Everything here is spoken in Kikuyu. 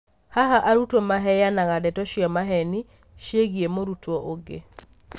haha arutwo maheyanaga ndeto cia maheni ciĩgiĩ mũrutwo ũngĩ.